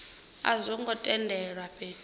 a zwo ngo tendelwa fhethu